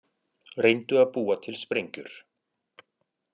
Reyndu að búa til sprengjur